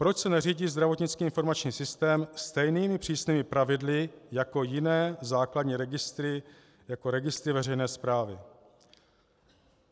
Proč se neřídí zdravotnický informační systém stejnými přísnými pravidly jako jiné základní registry, jako registry veřejné správy.